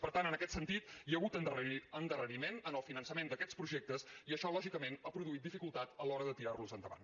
per tant en aquest sentit hi ha hagut endarreriment en el finançament d’aquests projectes i això lògicament ha produït dificultat a l’hora de tirarlos endavant